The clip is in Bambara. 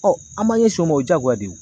an b'an ɲɛsin o ma o jaagoya de ye o.